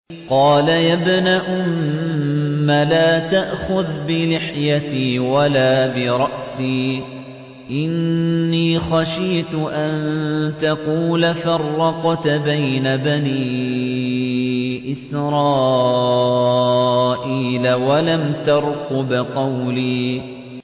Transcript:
قَالَ يَا ابْنَ أُمَّ لَا تَأْخُذْ بِلِحْيَتِي وَلَا بِرَأْسِي ۖ إِنِّي خَشِيتُ أَن تَقُولَ فَرَّقْتَ بَيْنَ بَنِي إِسْرَائِيلَ وَلَمْ تَرْقُبْ قَوْلِي